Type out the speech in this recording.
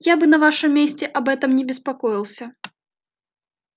я бы на вашем месте об этом не беспокоился